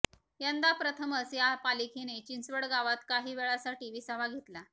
यंदा प्रथमच या पालखीने चिंचवडगावात काही वेळासाठी विसावा घेतला